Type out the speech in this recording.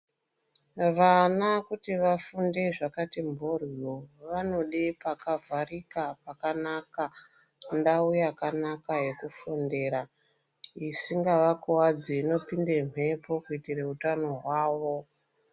Vana kuti vafunde zvakati mboryo vanode pakavharika pakanaka ndau yakanaka yekufundira, isingavakuwadzi, inopinde mhepo kuitire utano hwavo.